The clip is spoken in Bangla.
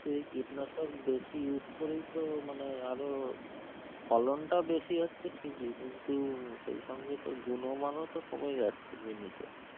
তো এই কীটনাশক বেশি use করেই তো মানে আরো, ফলনটা বেশি হচ্ছে ঠিকই কিন্তু সেইসঙ্গে তো গুণমানও তো কমে যাচ্ছে জিনিসের.